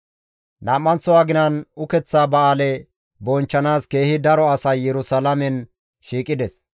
Nam7anththo aginan ukeththa ba7aale bonchchanaas keehi daro asay Yerusalaamen shiiqides.